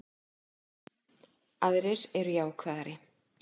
Aðrir eru jákvæðari